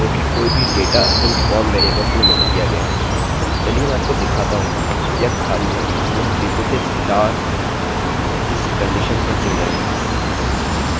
चलिए मैं आपको दिखाता हूँ यह खाली है इसलिए हम people से star इस कंडिशनcondition पर चुन रहे हैं कि where the name equals to nothing and the lastname equals to nothing